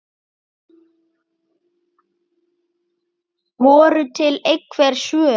Voru til einhver svör?